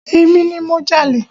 Emi ni mo jalè.